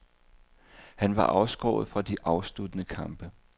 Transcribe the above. Han var afskåret fra de afsluttende kampe.